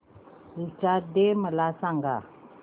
teachers day मला सांग